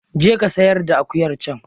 Je ka sayar da akuyar can.